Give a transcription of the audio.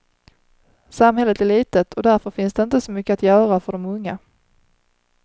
Samhället är litet och därför finns det inte så mycket att göra för de unga.